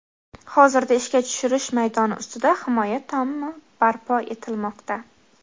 Hozirda ishga tushirish maydoni ustida himoya tomi barpo etilmoqda.